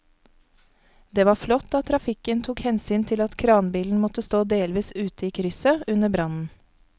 Det var flott at trafikken tok hensyn til at kranbilen måtte stå delvis ute i krysset under brannen.